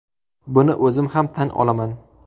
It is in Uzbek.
Buni o‘zim ham tan olaman.